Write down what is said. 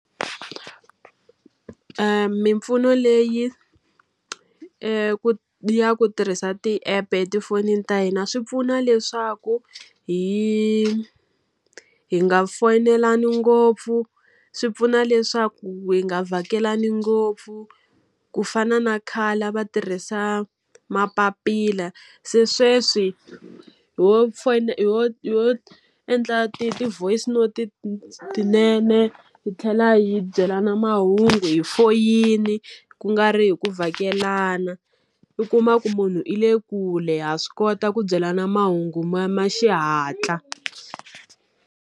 Mimpfuno leyi ya ku tirhisa ti app-e etifonini ta hina swi pfuna leswaku hi hi nga foyinelani ngopfu, swi pfuna leswaku hi nga vhakelani ngopfu. Ku fana na khale a va tirhisa mapapila, se sweswi hi ho ho endla ti-voice note-i tinene hi tlhela hi hi byelana mahungu hi foyini, ku nga ri hi ku vhakelana. U kuma ku munhu i le kule ha swi kota ku byelana mahungu ma ma xihatla.